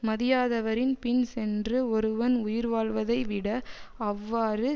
மதியாதவரின் பின் சென்று ஒருவன் உயிர்வாழ்வதை விட அவ்வாறு